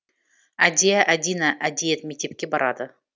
әдия әдина әдиет мектепке барады